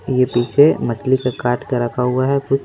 ये पीछे मछली का काट के रखा हुआ है कुछ--